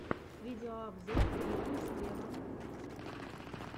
видеообзор бейонсе вево